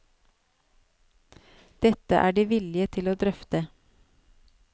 Dette er det vilje til å drøfte.